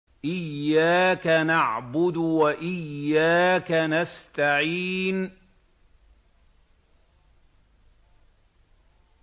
إِيَّاكَ نَعْبُدُ وَإِيَّاكَ نَسْتَعِينُ